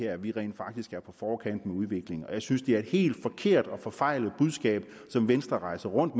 at vi rent faktisk er på forkant med udviklingen og jeg synes det er et helt forfejlet budskab som venstre rejser rundt